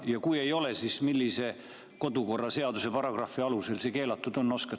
Ja kui ei ole, siis millise kodu‑ ja töökorra seaduse paragrahvi alusel see keelatud on?